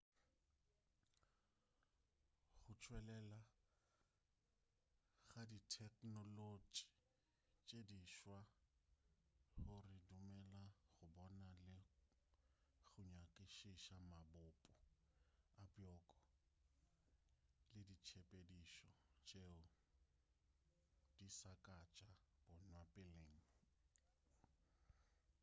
go tšwelela ga ditheknolotši tše di swa go re dumelela go bona le go nyakišiša mabopo a bjoko le ditshepedišo tšeo di sa ka tša bonwa peleng